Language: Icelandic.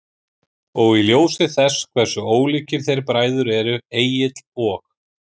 Og í ljósi þess hversu ólíkir þeir bræður eru, Egill og